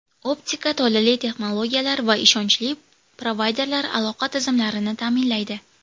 Optika tolali texnologiyalar va ishonchli provayderlar aloqa tizimlarini ta’minlaydi.